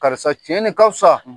Karisa tiɲɛ ka fisa